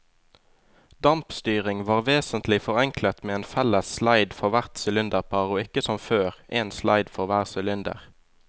Dampstyringen var vesentlig forenklet med en felles sleid for hvert sylinderpar og ikke som før, en sleid for hver sylinder.